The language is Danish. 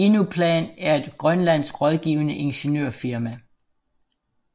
Inuplan er et grønlandsk rådgivende ingeniørfirma